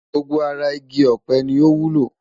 Gbogbo ara igi ọ̀pẹ ni ó wúlò.